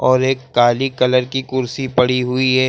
और एक काली कलर की कुर्सी पड़ी हुई है।